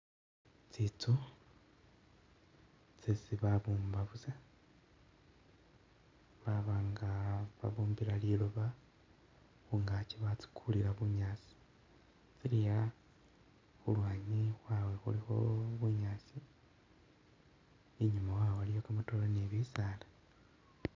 Tsintsu tsesi babumba buusa baba nga babumbila liloba khungaki batsikulisa bunyaasi tsiliha khulwanyi khwabwe khulikho bunyaasi inyuma wawe iliyo kamatoore ni bisaala